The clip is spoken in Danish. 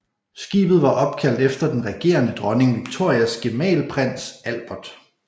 Skibet var opkaldt efter den regerende dronning Victorias gemal prins Albert